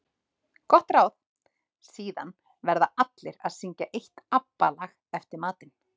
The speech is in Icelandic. Gott ráð: Síðan verða allir að syngja eitt ABBA lag eftir matinn.